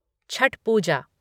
Chhath Puja